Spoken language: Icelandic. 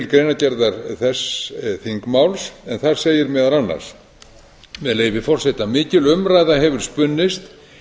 greinargerðar þess þingmáls en þar segir meðal annars með leyfi forseta mikil umræða hefur spunnist